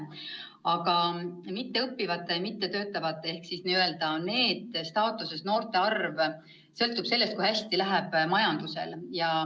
Aga mitteõppivate ja mittetöötavate ehk siis n-ö NEET-staatuses noorte arv sõltub sellest, kui hästi läheb majandusel.